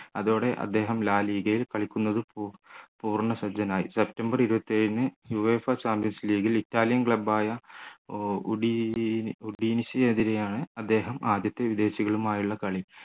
അതോടെ അദ്ദേഹം la liga യിൽ കളിക്കുന്നത് ഏർ പൂർണ്ണസജ്ജനായി സെപ്റ്റംബർ ഇരുപത്തിയേഴിന് uefa champions league ൽ ഇറ്റാലിയൻ club ആയ ഉദിനെസ്ന് എതിരെ ആൺ അദ്ദേഹം ആദ്യത്തെ വിദേശികളുമായുള്ള കളി